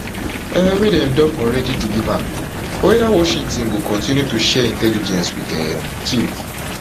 um wey dem don already deliver or weda washington go go continue to share intelligence wit um kyiv